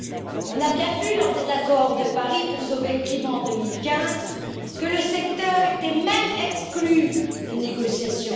Nous avons bien vu, lors de l'accord de Paris pour sauver le climat, en 2015, que le secteur était même exclu des négociations.